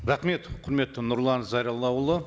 рахмет құрметті нұрлан зайроллаұлы